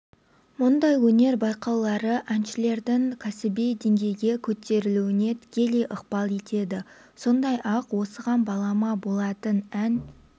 мұндай өнер байқаулары әншілердің кәсіби деңгейге көтерілуіне тікелей ықпал етеді сондай-ақ осыған балама болатын ән